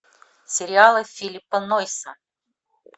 сериалы филлипа нойса